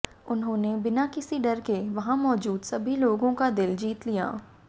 उन्होंने बिना किसी डर के वहां मौजूद सभी लोगों का दिल जीत लिया